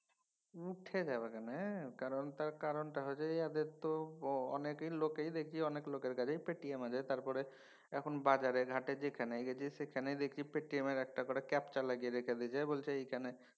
উঠে যাবে কেনে। কারণ তার কারণটা হচ্ছে এদের তো অনেক লোকেই দেখি অনেক লোকের কাছেই পেটিএম আছে। তারপরে এখন বাজারে ঘাটে যেখানে গেছি সেখানেই দেখছি পেটিএম একটা করে capcha লাগিয়ে রেখেছে। বলছে এইখানে